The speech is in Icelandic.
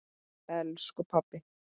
elsku pabbi.